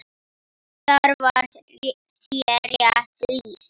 Þar var þér rétt lýst!